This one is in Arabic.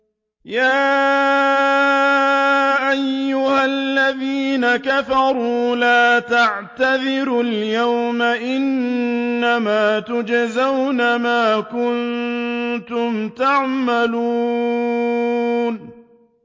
يَا أَيُّهَا الَّذِينَ كَفَرُوا لَا تَعْتَذِرُوا الْيَوْمَ ۖ إِنَّمَا تُجْزَوْنَ مَا كُنتُمْ تَعْمَلُونَ